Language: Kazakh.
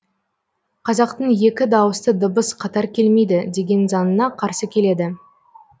қазақтың екі даусты дыбыс қатар келмейді деген заңына қарсы келеді